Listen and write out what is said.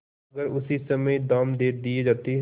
अगर उसी समय दाम दे दिये जाते